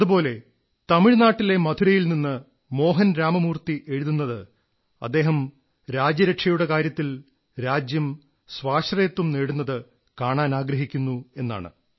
അതുപോലെ തമിഴ് നാട്ടിലെ മധുരയിൽ നിന്ന് മോഹൻ രാമമൂർത്തി എഴുതുന്നത് അദ്ദേഹം രാജ്യരക്ഷയുടെ കാര്യത്തിൽ രാജ്യം സ്വാശ്രയത്വം നേടുന്നത് കാണാനാഗ്രഹിക്കുന്നു എന്നാണ്